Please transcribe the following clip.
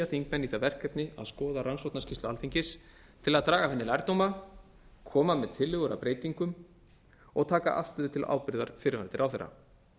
þingmenn í það verkefni að skoða rannsóknarskýrslu alþingis til að draga af henni lærdóma koma með tillögur að breytingum og taka afstöðu til ábyrgðar fyrrverandi ráðherra